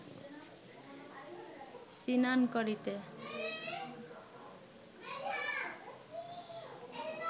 সিনান করিতে